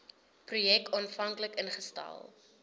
projek aanvanklik ingestel